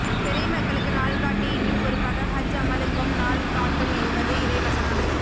பிறை மக்களுக்கு நாள்காட்டி இன்னும் குறிப்பாக ஹஜ் அமலுக்கும் நாள் காட்டும் எனபது இறை வசனம்